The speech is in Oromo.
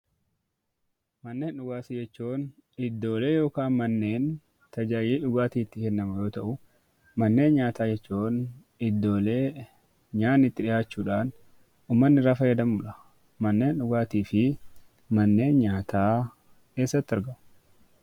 Manneen dhugaatii jechuun iddoolee yookaan manneen tajaajilli dhugaatii itti kennamu yoo ta'u, manneen nyaataa jechuun iddoolee nyaanni itti dhiyaachuudhaan ummanni irraa fayyadamuu dha. Manneen dhugaatii fi manneen nyaataa eessatti argamu?